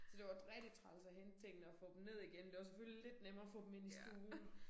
Så det var rigtig træls at hente tingene og få dem ned igen det var selvfølgelig lidt nemmere at få dem ind i stuen